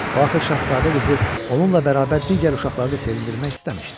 Axı şahzadə qızı onunla bərabər digər uşaqları da sevindirmək istəmişdi.